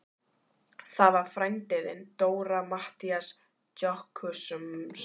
Það var frændi þinn, Dóra, Matthías Jochumsson.